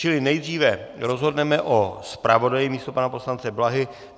Čili nejdříve rozhodneme o zpravodaji místo pana poslance Blahy.